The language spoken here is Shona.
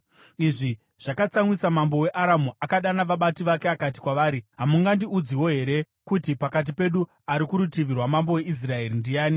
Izvi zvakatsamwisa mambo weAramu. Akadana vabati vake akati kwavari, “Hamungandiudzewo here kuti pakati pedu ari kurutivi rwamambo weIsraeri ndiani?”